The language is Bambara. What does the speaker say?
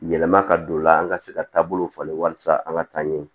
Yɛlɛma ka don o la an ka se ka taabolo falen walasa an ka taa ɲɛɲini